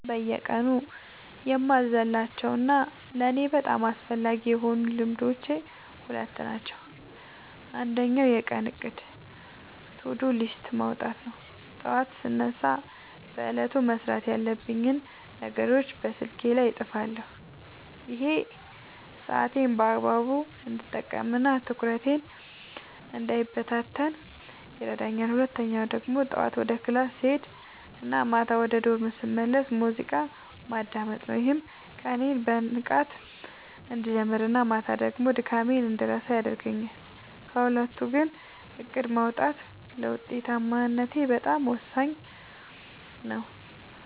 በየቀኑ የማልዘልላቸው እና ለእኔ በጣም አስፈላጊ የሆኑት ልማዶች ሁለት ናቸው። አንደኛው የቀን እቅድ (To-Do List) ማውጣት ነው፤ ጠዋት ስነሳ በዕለቱ መስራት ያለብኝን ነገሮች በስልኬ ላይ እጽፋለሁ። ይሄ ሰዓቴን በአግባቡ እንድጠቀምና ትኩረቴ እንዳይበታተን ይረዳኛል። ሁለተኛው ደግሞ ጠዋት ወደ ክላስ ስሄድ እና ማታ ወደ ዶርም ስመለስ ሙዚቃ ማዳመጥ ነው፤ ይህም ቀኔን በንቃት እንድጀምርና ማታ ደግሞ ድካሜን እንድረሳ ያደርገኛል። ከሁለቱ ግን እቅድ ማውጣቱ ለውጤታማነቴ በጣም ወሳኙ ነው።